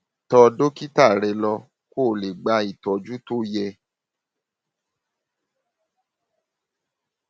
tọ dókítà rẹ lọ kó o lè gba ìtọjú tó yẹ